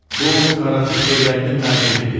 Bu qaraçı Xeyrəddin Məğribidir.